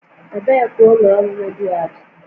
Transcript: Ebee ka ụlọ ọrụ redio a dị?